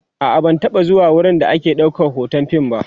a'a ban taba zuwa wurin da ake ɗaukan be Hoton fim ba